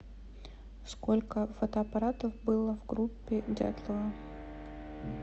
сколько фотоаппаратов было в группе дятлова